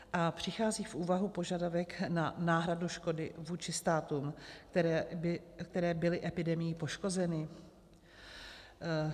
A přichází v úvahu požadavek na náhradu škody vůči státům, které byly epidemií poškozeny?